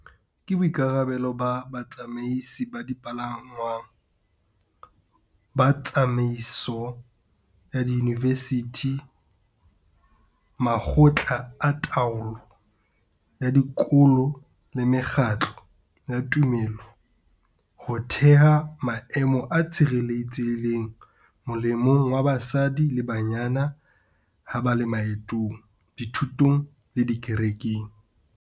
Ke boikarabelo ba batsamaisi ba dipalangwang, ba tsamaiso ya diyunivesithi, makgotla a taolo ya dikolo le mekgatlo ya tumelo ho theha maemo a tshireletsehileng molemong wa basadi le bananyana ha ba le maetong, dithutong le dikerekeng.